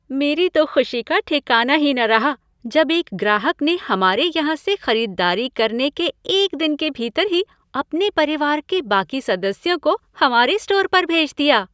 मेरी तो ख़ुशी का ठिकाना ही न रहा जब एक ग्राहक ने हमारे यहाँ से ख़रीदारी करने के एक दिन के भीतर ही अपने परिवार के बाकी सदस्यों को हमारे स्टोर पर भेज दिया।